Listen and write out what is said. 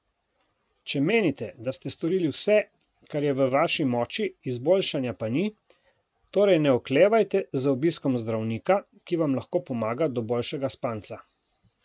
Če menite, da ste storili vse, kar je v vaši moči, izboljšanja pa ni, torej ne oklevajte z obiskom zdravnika, ki vam lahko pomaga do boljšega spanca.